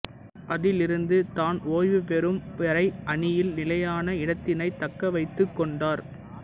அதிலிருந்து தான் ஓய்வு பெறும் வரை அணியில் நிலையான இடத்தினைத் தக்கவைத்துக் கொண்டார்